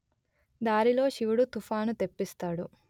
దారిలో శివుడు తుఫాను తెప్పిస్తాడు